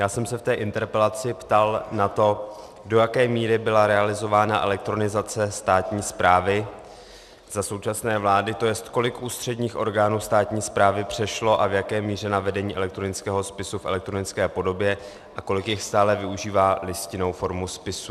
Já jsem se v té interpelaci ptal na to, do jaké míry byla realizována elektronizace státní správy za současné vlády, to jest, kolik ústředních orgánů státní správy přešlo a v jaké míře na vedení elektronického spisu v elektronické podobě a kolik jich stále využívá listinnou formu spisů.